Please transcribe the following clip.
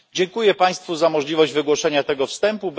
Dziękuję Państwu za możliwość wygłoszenia tego wstępu.